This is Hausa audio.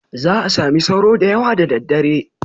Za a sami sauro da yawa da daddare.